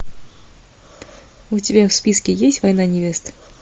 у тебя в списке есть война невест